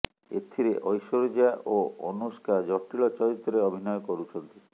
ଏଥିରେ ଐଶ୍ୱର୍ଯ୍ୟା ଓ ଅନୁଷ୍କା ଜଟିଳ ଚରିତ୍ରରେ ଅଭିନୟ କରୁଛନ୍ତି